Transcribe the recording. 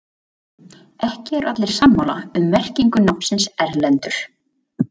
Ekki eru allir sammála um merkingu nafnsins Erlendur.